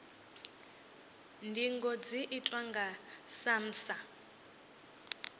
ndingo dzi itwa nga samsa